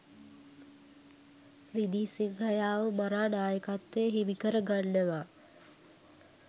රිදී සිංහයාව මරා නායකත්වය හිමිකර ගන්නවා.